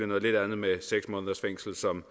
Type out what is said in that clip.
noget lidt andet med seks måneders fængsel som